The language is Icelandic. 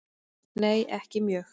Nei ekki mjög.